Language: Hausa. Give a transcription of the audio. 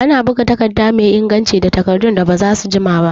Ana buga takarda mai inganci da takardun da bazasu jima